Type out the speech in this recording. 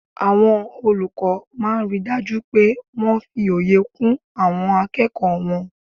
Àwọn olùkọ́ máa n ri dájú pé wọ́n fi òye kún àwọn akẹ́kọ̀ọ́ wọn